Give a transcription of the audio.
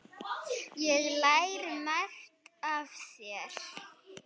Ég lærði margt af þér.